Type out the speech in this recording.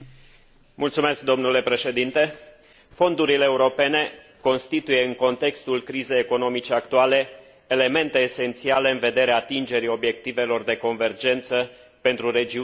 Fondurile europene constituie, în contextul crizei economice actuale, elemente esențiale în vederea atingerii obiectivelor de convergență pentru regiunile mai puțin dezvoltate din statele membre.